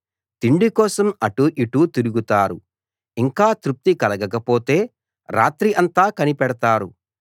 తిండికోసం అటూ ఇటూ తిరుగుతారు ఇంకా తృప్తి కలగకపోతే రాత్రి అంతా కనిపెడతారు